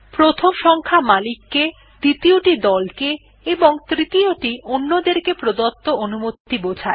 প্রথম সংখ্যা মালিক কে দ্বিতীয়টি দল কে এবং তৃতীয়টি অন্যদের কে প্রদত্ত অনুমতি বোঝায়